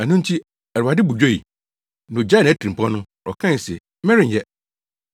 Ɛno nti, Awurade bo dwoe. Na ogyaee nʼatirimpɔw no. Ɔkae se, “Merenyɛ.”